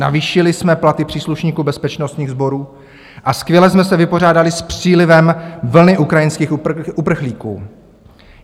Navýšili jsme platy příslušníků bezpečnostních sborů a skvěle jsme se vypořádali s přílivem vlny ukrajinských uprchlíků.